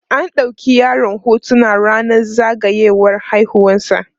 an ɗauki yaron hotuna rannan zagayiwar haihuwar sa